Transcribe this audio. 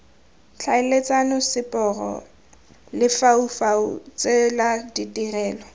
tlhaeletsano seporo lefaufau tsela ditirelo